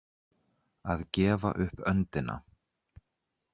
Að gefa upp öndina